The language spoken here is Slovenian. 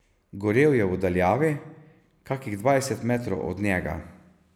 Gorel je v daljavi, kakih dvajset metrov od njega.